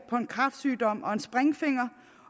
på en kræftsygdom og en springfinger